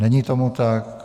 Není tomu tak.